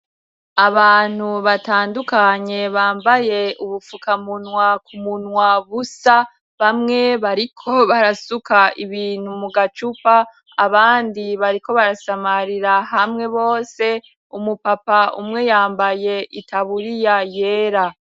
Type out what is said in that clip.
Abantu batandukanye bambaye ubupfuka munwa ku munwa busa bamwe bariko barasuka ibintu mu gacupa abandi bariko barasamarira hamwe bose umupapa umwe yambaye itaburiya yera.